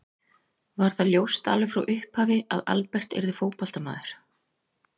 Var það ljóst alveg frá upphafi að Albert yrði fótboltamaður?